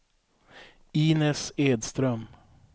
Inez Edström